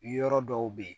Yɔrɔ dɔw bɛ yen